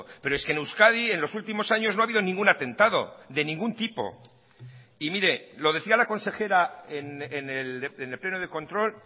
pero es que en euskadi en los últimos años no ha habido ningún atentado de ningún tipo y mire lo decía la consejera en el pleno de control